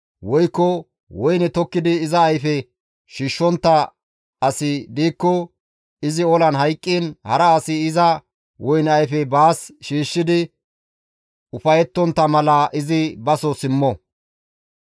Woykko woyne tokkidi iza ayfe shiishshontta asi diikko izi olan hayqqiin hara asi iza woyne ayfe baas shiishshidi ufayettontta mala izi baso simmo.